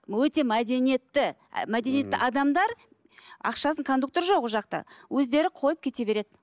өте мәдениетті ы мәдениетті адамдар ақшасын кондуктор жоқ ол жақта өздері қойып кете береді